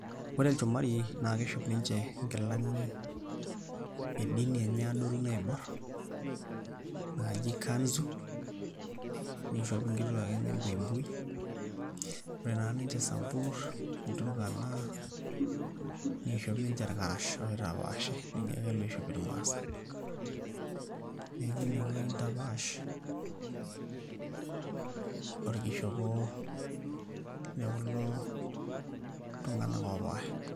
Ore ilchumari naa kiishop ninche nkilani e dini enye adoru naiborr naajo kanzu, niishop nkituaak enye buibui ore naa ninche Isamburr, Ilturukana niishop ninche irkarash aitapaash nijo ake iloip, neeku ineueji intapaash orkishop le kulo tung'anak oopaasha.